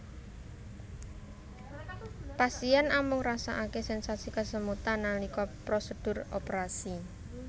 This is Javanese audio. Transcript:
Pasien amung ngrasakaké sensasi kesemutan nalika prosedur operasi